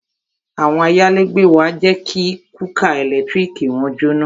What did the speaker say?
Àwọn ayálégbé wa jẹ́ kí kúkà ẹ̀lẹ́tíríkì wọn jóná